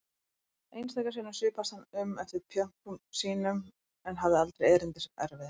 Einstaka sinnum svipaðist hann um eftir pjönkum sínum en hafði aldrei erindi sem erfiði.